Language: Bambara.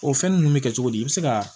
O fɛn nunnu bi kɛ cogo di i be se ka